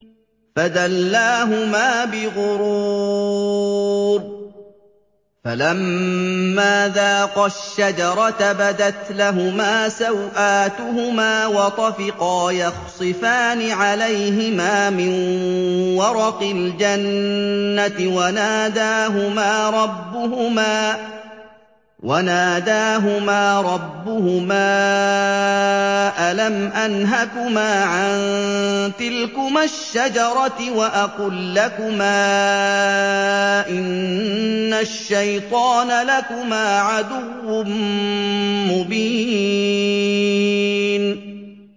فَدَلَّاهُمَا بِغُرُورٍ ۚ فَلَمَّا ذَاقَا الشَّجَرَةَ بَدَتْ لَهُمَا سَوْآتُهُمَا وَطَفِقَا يَخْصِفَانِ عَلَيْهِمَا مِن وَرَقِ الْجَنَّةِ ۖ وَنَادَاهُمَا رَبُّهُمَا أَلَمْ أَنْهَكُمَا عَن تِلْكُمَا الشَّجَرَةِ وَأَقُل لَّكُمَا إِنَّ الشَّيْطَانَ لَكُمَا عَدُوٌّ مُّبِينٌ